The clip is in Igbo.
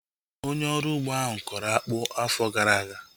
Onye ọrụ ugbo ahu kọrọ akpụ afọ gara aga